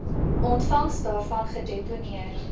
ontvangs daarvan gedeponeer